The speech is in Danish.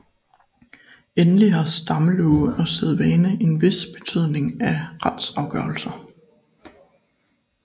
Endelig har stammelove og sædvane en vis betydning på retsafgørelser